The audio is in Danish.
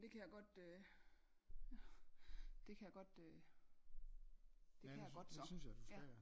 Det kan jeg godt øh det kan jeg godt øh det kan jeg godt så ja